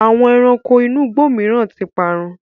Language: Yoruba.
Àwọn ẹranko inú igbó mìíràn ti parun.